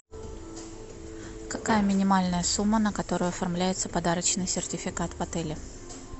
какая минимальная сумма на которую оформляется подарочный сертификат в отеле